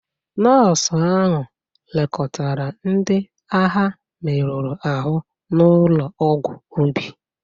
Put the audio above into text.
Nọọsụ ahụ lekọtara ndị agha merụrụ ahụ n'ụlọ ọgwụ ubi.